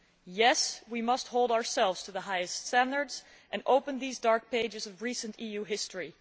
Yes, we must hold ourselves to the highest standards and open these dark pages of recent EU history.